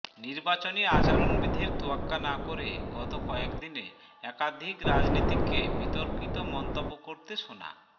নির্বাচনী আচরণ বিধির তোয়াক্কা না করে গত কয়েকদিনে একাধিক রাজনীতিককে বিতর্কিত মন্তব্য করতে শোনা